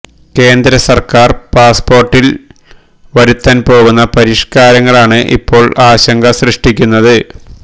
കേന്ദ്ര സർക്കാർ പാസ്പോർട്ടിൽ വരുത്താൻ പോകുന്ന പരിഷ്കാരങ്ങളാണ് ഇപ്പോൾ ആശങ്ക സൃഷ്ടിക്കുന്നത്